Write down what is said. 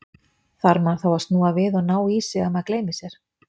Þarf maður þá að snúa við og ná í sig, ef maður gleymir sér?